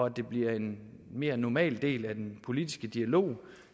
at det bliver en mere normal del af den politiske dialog